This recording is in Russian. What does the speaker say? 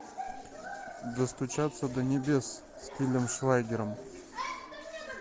достучаться до небес с тилем швайгером